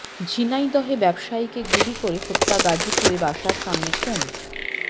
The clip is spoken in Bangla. ঝিনাইদহে ব্যবসায়ীকে গুলি করে হত্যা গাজীপুরে বাসার সামনে খুন